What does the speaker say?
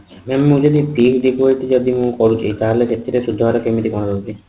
ଆଛା mam ମୁ ଯଦି fixed deposit ଯଦି ମୁଁ କରୁଛି ତାହାଲେ ସେଥିରେ ସୁଧହାର କେମିତି କଣ ରହୁଛି